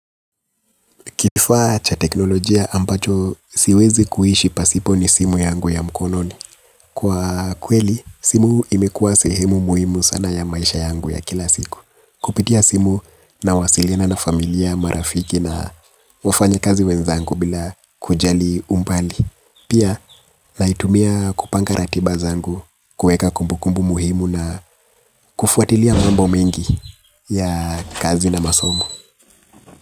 Kifaa cha teknolojia ambacho siwezi kuishi pasipo ni simu yangu ya mkononi. Kwa kweli, simu imekuwa sehemu muhimu sana ya maisha yangu ya kila siku. Kupitia simu nawasilina na familia marafiki na wafanya kazi wenzangu bila kujali umbali. Pia, naitumia kupanga ratiba zangu, kuweka kumbukumbu muhimu na kufuatilia mambo mengi ya kazi na masomo.